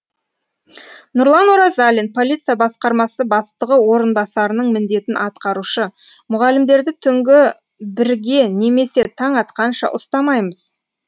нұрлан оразалин полиция басқармасы бастығы орынбасарының міндетін атқарушы мұғалімдерді түнгі бірге немесе таң атқанша ұстамаймыз